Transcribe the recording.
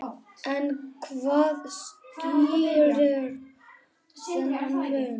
En hvað skýrir þennan mun?